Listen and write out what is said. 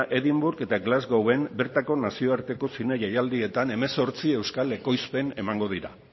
edinburgh eta glasgowen bertako nazioarteko zine jaialdietan hemezortzi euskal ekoizpen emango dira